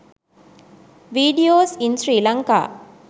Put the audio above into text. videos in sri lanka